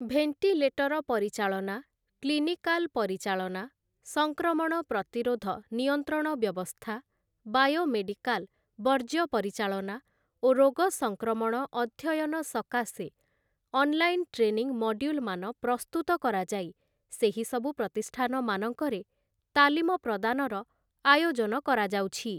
Ventilator ପରିଚାଳନା, clinical ପରିଚାଳନା, ସଂକ୍ରମଣ ପ୍ରତିରୋଧ ନିୟନ୍ତ୍ରଣ ବ୍ୟବସ୍ଥା, ବାୟୋ ମେଡ଼ିକାଲ ବର୍ଜ୍ୟ ପରିଚାଳନା ଓ ରୋଗସଂକ୍ରମଣ ଅଧ୍ୟୟନ ସକାଶେ ଅନଲାଇନ ଟ୍ରେନିଂ ମଡ୍ୟୁଲମାନ ପ୍ରସ୍ତୁତ କରାଯାଇ ସେହିସବୁ ପ୍ରତିଷ୍ଠାନମାନଙ୍କରେ ତାଲିମ ପ୍ରଦାନର ଆୟୋଜନ କରାଯାଉଛି ।